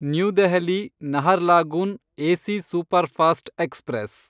new Delhi Naharlagun AC superfast express